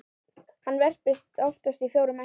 Hann verpir oftast fjórum eggjum.